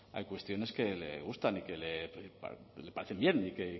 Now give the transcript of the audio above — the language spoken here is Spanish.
hay cuestiones que le gustan y que le parecen bien y que